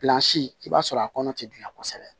i b'a sɔrɔ a kɔnɔ tɛ gilan kosɛbɛ